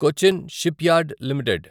Cochin shipyard limited